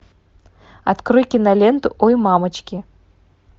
открой киноленту ой мамочки